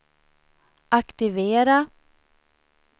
aktivera